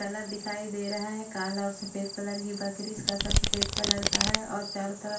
colour दिखाई दे रहा है काला और सफेद कलर की बकरी इसका सर सफेद कलर का है और चारों तरफ--